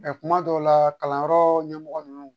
kuma dɔw la kalanyɔrɔ ɲɛmɔgɔ ninnu